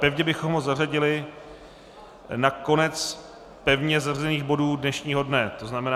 Pevně bychom ho zařadili na konec pevně zařazených bodů dnešního dne, to znamená...